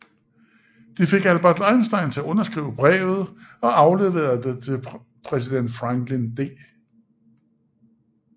De fik Albert Einstein til at underskrive brevet og afleverede det til præsident Franklin D